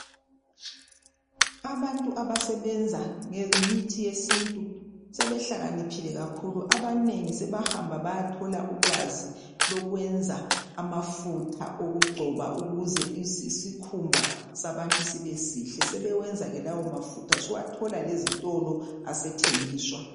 abantu abasebenza ngemithi yesintu sebehlakaniphile kakhulu abanengi sebahamba bayathola ulwazi lokwenz amafutha okugcoba ukuze isikhumba sabantu sibe sihle sebenza ke lawo mafutho suwathola lezitolo asethengiswa